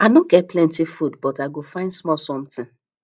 i no get plenty food but i go find small something